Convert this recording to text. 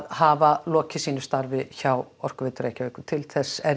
hafa lokið sínu starfi hjá Orkuveitu Reykjavíkur til þess er